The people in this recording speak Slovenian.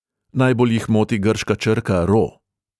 Najbolj jih moti grška črka ro.